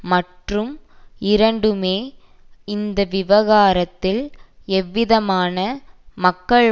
மற்றும் இரண்டுமே இந்த விவகாரத்தில் எவ்விதமான மக்கள்